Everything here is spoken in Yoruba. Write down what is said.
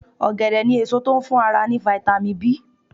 Ọ̀gẹ̀dẹ̀ ni èso tó ń fún ara ní "vitamIn B".